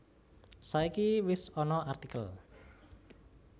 Saiki iki wis ana artikel